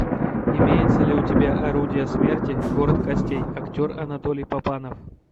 имеется ли у тебя орудия смерти город костей актер анатолий папанов